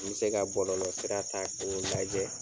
N mi se ka bɔlɔlɔ sira ta ko lajɛ